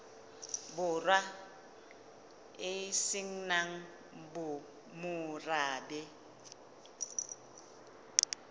borwa e se nang morabe